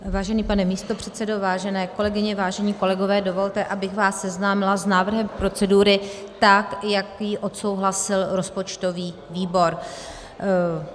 Vážený pane místopředsedo, vážené kolegyně, vážení kolegové, dovolte, abych vás seznámila s návrhem procedury, tak jak ji odsouhlasil rozpočtový výbor.